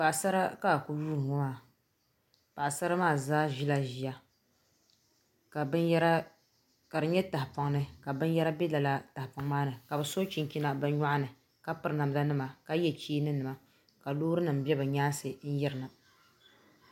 Paɣasara ka a ku yuundi ŋɔ maa paɣasara maa zaa ʒila ʒiya ka di nyɛ tahapoŋ ni ka binyɛra bɛ lala tahapoŋ maa ni ka bi chinchina bi nyoɣani ka piri namda nima ka yɛ cheeni nima ka loori nim bɛ ni nyaansi n yirina